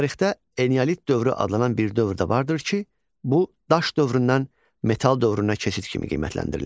Tarixdə eneolit dövrü adlanan bir dövr də vardır ki, bu daş dövründən metal dövrünə keçid kimi qiymətləndirilir.